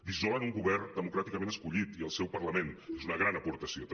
dissolen un govern democràticament escollit i el seu par·lament és una gran aportació també